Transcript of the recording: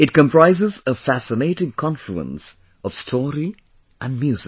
It comprises a fascinating confluence of story and music